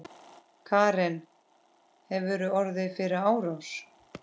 Karen: Hefurðu orðið fyrir árás?